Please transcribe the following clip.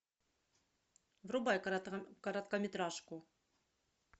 врубай короткометражку